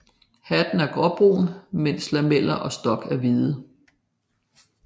Hatten er gråbrun mens lameller og stok er hvide